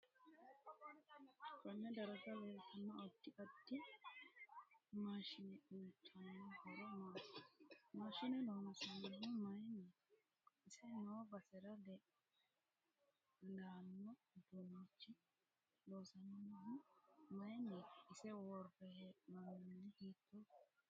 Konne darga leeltanno addi addi maasshine uyiitanno horo maati maashine loonsaanihu mayiiniti ise noo basera leeanno uduunichi loosaminohu mayiiniti ise worre heenooni mini hiitooho